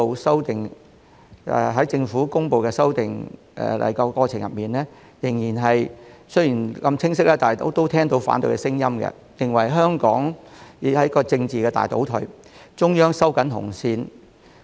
雖然政府公布修例的過程如此清晰，但卻仍聽到反對聲音，認為這是"香港政治大倒退"、"中央收緊紅線"。